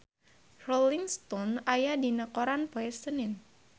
Rolling Stone aya dina koran poe Senen